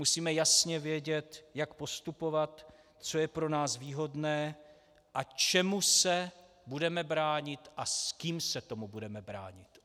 Musíme jasně vědět, jak postupovat, co je pro nás výhodné a čemu se budeme bránit a s kým se tomu budeme bránit.